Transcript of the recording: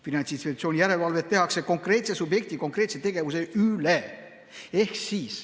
Finantsinspektsiooni järelevalvet tehakse konkreetse subjekti konkreetse tegevuse üle.